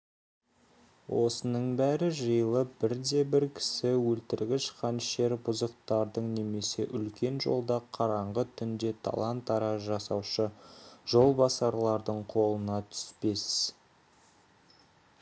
осының бәрі жиылып бірде-бір кісі өлтіргіш қанішер бұзықтардың немесе үлкен жолда қараңғы түнде талан-тараж жасаушы жолбасарлардың қолына түспес